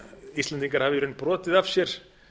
íslendingar hafi í raun brotið af sér